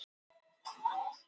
Hughes reiknar með Eiði áfram